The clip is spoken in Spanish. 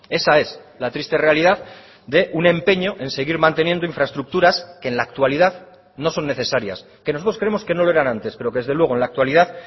esa es la triste realidad de un empeño en seguir manteniendo infraestructuras que en la actualidad no son necesarias que nosotros creemos que no lo eran antes pero que desde luego en la actualidad